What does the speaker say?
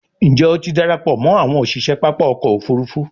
njé o tí darapọ̀ mọ àwọn òṣiṣẹ pápá ọkọ̀-òfurufú?